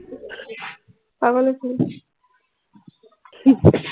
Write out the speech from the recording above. পাগল হৈছে সি